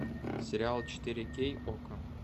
сериал четыре кей окко